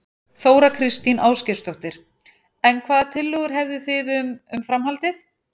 Þóra Kristín Ásgeirsdóttir: En hvaða tillögur hefðu þið um, um framhaldið?